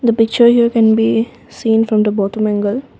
the picture you can be seen from the bottom angle.